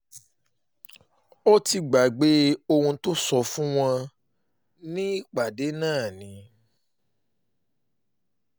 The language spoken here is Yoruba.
ó ti gbàgbé ohun tó sọ fún wọn nípàdé náà ni